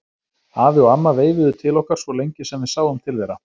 Afi og amma veifuðu til okkar svo lengi sem við sáum til þeirra.